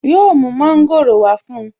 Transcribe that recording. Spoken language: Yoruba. Yóò mu Mọ́ńgòrò wá fún un